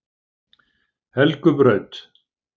Helgubraut